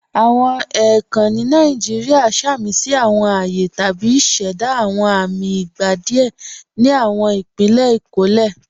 Awọn èèkàn ni Nàìjíríà sàmísí awọn ààyè tàbí ṣẹ̀dá awọn amì ìgbà díẹ̀ ni awọn ìpílẹ̀ ikólẹ̀.